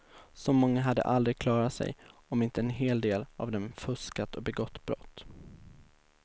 Så många hade aldrig klarat sig om inte en hel del av dem fuskat och begått brott.